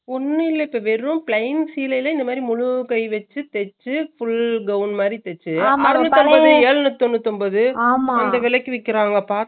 ஆனா cloth cloth நல்லா இருக்கணும் cotton துணியா இருக்கணும் எந்த துணியா இருந்தாலுமே நல்ல cloth தா quality யா இருக்கணும்